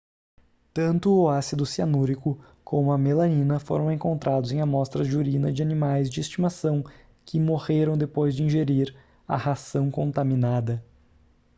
tanto o ácido cianúrico como a melanina foram encontrados em amostras de urina de animais de estimação que morreram depois de ingerir a ração contaminada